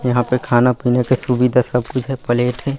यहाँ पे खाना पीना का सुविधा सब कुछ है प्लेट है।